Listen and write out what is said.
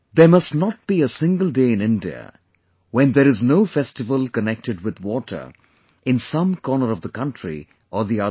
There must not be a single day in India, when there is no festival connected with water in some corner of the country or the other